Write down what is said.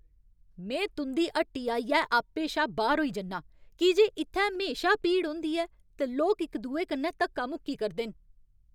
में तुं'दी हट्टी आइयै आपे शा बाह्‌र होई जन्नां की जे इ'त्थै म्हेशा भीड़ होंदी ऐ ते लोक इक दुए कन्नै धक्का मुक्की करदे न।